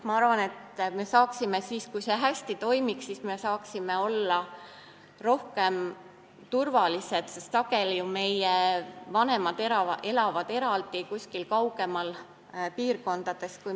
Ma arvan, et kui see hästi toimiks, siis me saaksime olla rohkem turvalised, sest meie vanemad elavad sageli eraldi kuskil kaugemas piirkonnas.